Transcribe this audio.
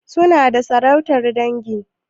Suna da sarautar dangi?